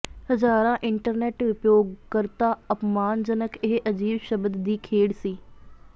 ਹਜ਼ਾਰਾਂ ਇੰਟਰਨੈਟ ਉਪਯੋਗਕਰਤਾ ਅਪਮਾਨਜਨਕ ਇਹ ਅਜੀਬ ਸ਼ਬਦ ਦੀ ਖੇਡ ਸੀ